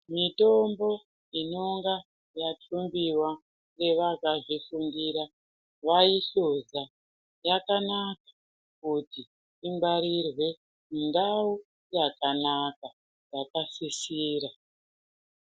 Mitombo inenge yathumbiwa ngevakazvifundira, vaihluza zvakanaka kuti ingwarirwe mundau yakanaka, yakasisira.